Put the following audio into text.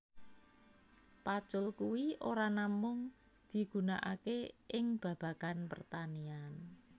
Pacul kui ora namung digunakaké ing babagan pertanian